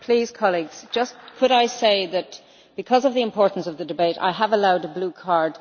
Colleagues, please could I just say that, because of the importance of the debate, I have allowed a blue card.